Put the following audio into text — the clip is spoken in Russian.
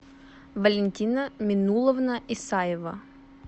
валентина минуловна исаева